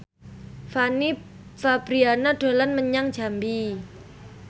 Fanny Fabriana dolan menyang Jambi